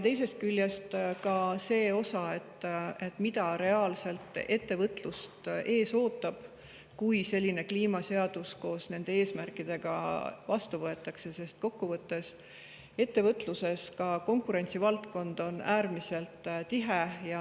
Teisest küljest ka see, mis ettevõtlust reaalselt ees ootab, kui selline kliimaseadus koos nende eesmärkidega vastu võetakse, sest ettevõtluses on konkurents äärmiselt tihe.